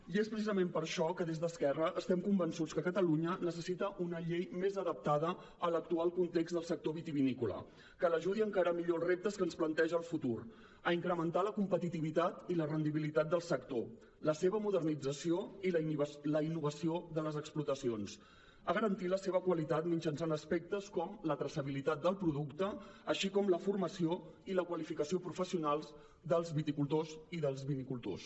i és precisament per això que des d’esquerra estem convençuts que catalunya necessita una llei més adaptada a l’actual context del sector vitivinícola que l’ajudi a encarar millor els reptes que ens planteja el futur a incrementar la competitivitat i la rendibilitat del sector la seva modernització i la innovació de les explotacions a garantir la seva qualitat mitjançant aspectes com la traçabilitat del producte així com la formació i la qualificació professionals dels viticultors i dels vinicultors